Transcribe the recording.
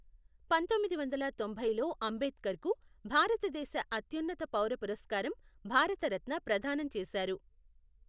పంతొమ్మిది వందల తొంభైలో అంబేద్కర్కు, భారతదేశ అత్యున్నత పౌర పురస్కారం భారతరత్న ప్రదానం చేశారు.